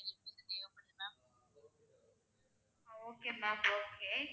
Okay mam okay.